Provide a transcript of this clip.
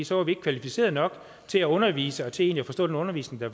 så er vi ikke kvalificerede nok til at undervise og til egentlig at forstå den undervisning der